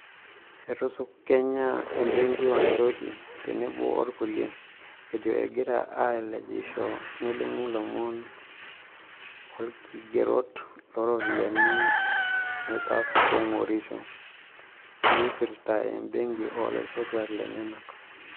Etusukunya e benki Wanjohi, tenebo olkulia, ejo egiraa aalejisho nelimu lomon o olkigereto looropiyiani naitapongorisho naipirita e benki olaisotuak lenyanak.